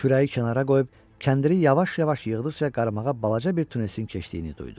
Kürəyi kənara qoyub kəndiri yavaş-yavaş yığdıqca qarmağa balaca bir tunesin keçdiyini duydu.